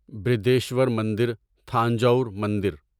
برہدیشور مندر تھانجاور مندر